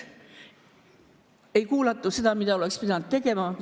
Ei kuulatud seda, mida oleks pidanud tegema.